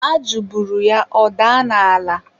ajụ buru ya, ọ daa n'ala.